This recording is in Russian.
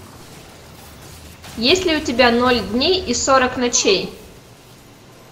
есть ли у тебя ноль дней и сорок ночей